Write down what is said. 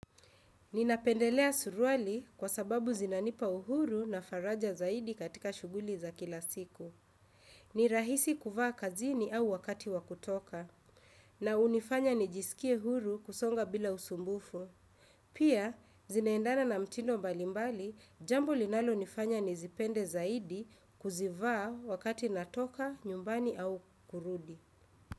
Ninapendelea surwali kwa sababu zinanipa uhuru na faraja zaidi katika shuguli za kila siku. Ni rahisi kuvaa kazini au wakati wa kutoka. Na unifanya nijisikie huru kusonga bila usumbufu. Pia, zinaendana na mtindo mbalimbali, jambo linalo nifanya nizipende zaidi kuzivaa wakati natoka, nyumbani au kurudi.